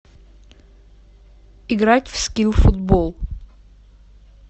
играть в скил футбол